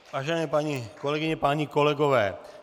Vážené paní kolegyně, páni kolegové.